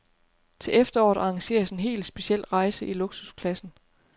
Til efteråret arrangeres en helt speciel rejse i luksusklassen.